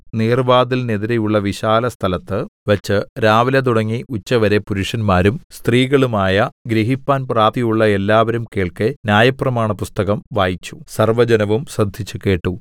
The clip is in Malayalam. നീർവ്വാതിലിനെതിരെയുള്ള വിശാലസ്ഥലത്ത് വച്ച് രാവിലെ തുടങ്ങി ഉച്ചവരെ പുരുഷന്മാരും സ്ത്രീകളുമായ ഗ്രഹിപ്പാൻ പ്രാപ്തിയുള്ള എല്ലാവരും കേൾക്കെ ന്യായപ്രമാണപുസ്തകം വായിച്ചു സർവ്വജനവും ശ്രദ്ധിച്ചുകേട്ടു